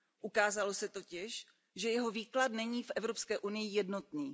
Ukázalo se totiž, že jeho výklad není v Evropské unii jednotný.